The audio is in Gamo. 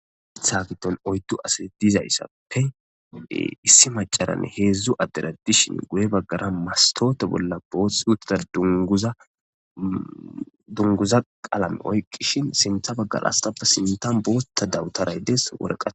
itha giton oytu asat dizayssappe de issi macaranne heedzdzu addera dishin guye baggara mastote bolla booth uttida dunguza qaalame oykqishin sintha baggara astappe sintan bootta dawutaray dees woreqae